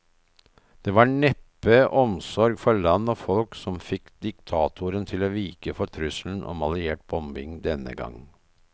Det var neppe omsorg for land og folk som fikk diktatoren til å vike for trusselen om alliert bombing denne gang.